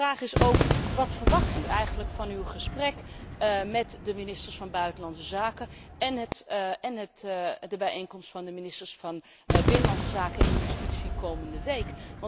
De vraag is ook wat verwacht u eigenlijk van uw gesprek met de ministers van Buitenlandse Zaken en de bijeenkomst van de ministers van Binnenlandse Zaken en Justitie komende week?